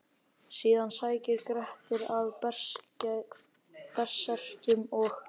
Síðan sækir Grettir að berserkjum og: